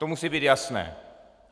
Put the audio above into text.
To musí být jasné.